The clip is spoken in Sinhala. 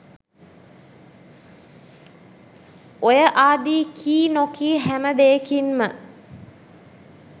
ඔය ආදී කී නොකී හැම දේකින්ම